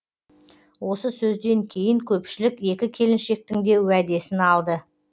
осы сөзден кейін көпшілік екі келіншектің де уәдесін алды